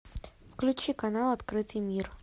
включи канал открытый мир